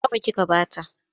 Nawa kika ba ta?